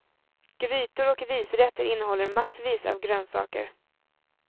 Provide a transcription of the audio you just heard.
Grytor och risrätter innehåller massvis av grönsaker.